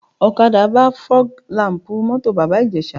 Ọ̀kadà gbá fọ́g làm̀pù mọ́tò Bàbá Ìjẹ̀ṣà